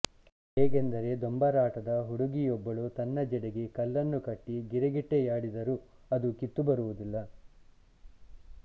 ಹೇಗೆಂದರೆ ದೊಂಬರಾಟದ ಹುಡುಗುಯೊಬ್ಬಳು ತನ್ನ ಜಡೆಗೆ ಕಲ್ಲನ್ನು ಕಟ್ಟಿ ಗಿರಿಗಿಟ್ಟೆಯಾಡಿದರೂ ಅದು ಕಿತ್ತು ಬರುವುದಿಲ್ಲ